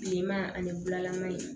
Bilenman ani bulalama in